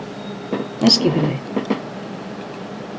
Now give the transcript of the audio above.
Eskifirði